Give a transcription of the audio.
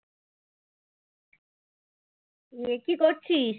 তুই কি করছিস?